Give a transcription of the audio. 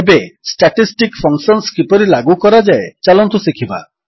ଏବେ statistic functions କିପରି ଲାଗୁ କରାଯାଏ ଚାଲନ୍ତୁ ଶିଖିବା